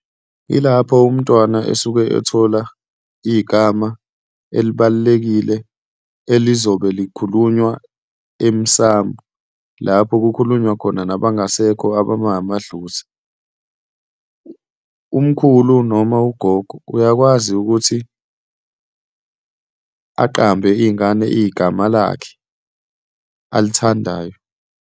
Yilapho umntwana esuke ethola igama elibalulekile elizobe likhulunywa emsamo lapho kukhulunywa khona nabangasekho abangamadlozi. Umkhulu noma ugogo uyakwazi ukuthi aqambe ingane igama lakhe alithandayo.